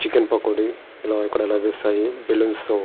Chicken pakodi ఇక్కడ లభిస్తాయి. Balloons తో--